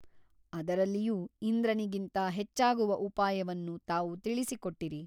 ಅದರಲ್ಲಿಯೂ ಇಂದ್ರನಿಗಿಂತ ಹೆಚ್ಚಾಗುವ ಉಪಾಯವನ್ನು ತಾವು ತಿಳಿಸಿಕೊಟ್ಟಿರಿ.